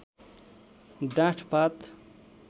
डाँठ पात